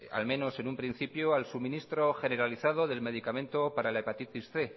al menos en un principio al suministro generalizado del medicamento para la hepatitis cien